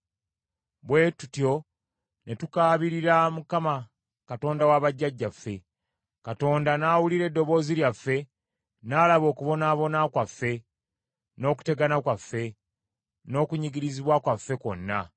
Bwe tutyo ne tukaabirira Mukama , Katonda wa bajjajjaffe; Katonda n’awulira eddoboozi lyaffe, n’alaba okubonaabona kwaffe, n’okutegana kwaffe, n’okunyigirizibwa kwaffe kwonna.